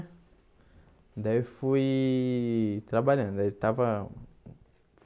Daí eu fui trabalhando aí eu estava.